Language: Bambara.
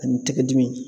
Ani tɛgɛ dimi